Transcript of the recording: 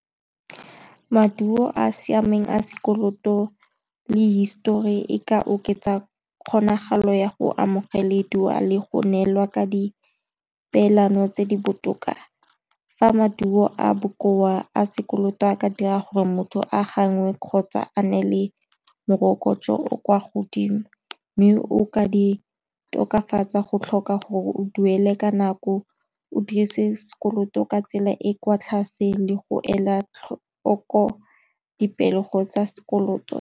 Maduo a siameng a sekoloto le histori e ka oketsa kgonagalo ya go amogeleduwa le go neelwa ka di peelano tse di botoka, fa maduo a bokoa a sekoloto a ka dira gore motho a gangwe kgotsa a nne le morokotso o o kwa godimo, mme o ka di tokafatsa go tlhoka gore o duele ka nako, o dirise sekoloto ka tsela e e kwa tlase le go ela tlhoko dipego tsa sekoloto.